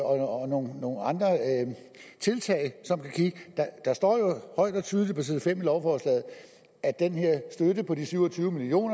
og nogle andre tiltag der står jo højt og tydeligt på side fem i lovforslaget at den her støtte på de syv og tyve million